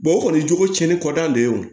o kɔni jogo cɛnni kɔ da de ye o